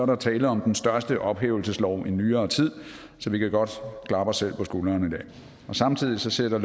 der tale om den største ophævelseslov i nyere tid så vi kan godt klappe os selv på skulderen i dag samtidig sætter